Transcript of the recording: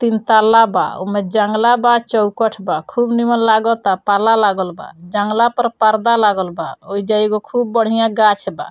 तीन तल्ला बा ओहमे जंगला बा चौकठ बा खुब निम्मन लागता ताला लागल बा जंगला पर पर्दा लागल बा ओहिजा एगो खुब बढ़िया गाँछ बा।